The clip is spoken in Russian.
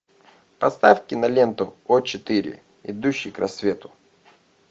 поставь киноленту о четыре идущий к рассвету